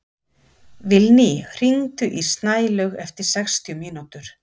Vilný, hringdu í Snælaug eftir sextíu mínútur.